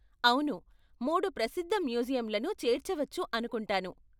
అవును! మూడు ప్రసిద్ధ మ్యూజియంలను చేర్చవచ్చు అనుకుంటాను.